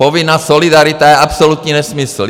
Povinná solidarita je absolutní nesmysl.